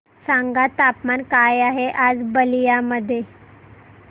सांगा तापमान काय आहे आज बलिया मध्ये